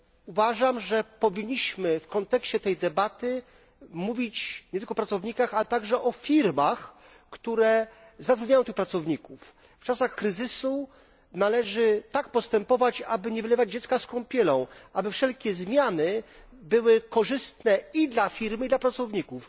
Uważam, że powinniśmy w kontekście tej debaty mówić nie tylko o pracownikach, ale także o firmach, które zatrudniają tych pracowników. W czasach kryzysu należy tak postępować, aby nie wylewać dziecka z kąpielą, aby wszelkie zmiany były korzystne i dla firmy, i dla pracowników.